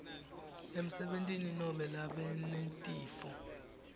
emsebentini nobe labanetifo